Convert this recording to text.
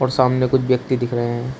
सामने कुछ व्यक्ति दिख रहे हैं।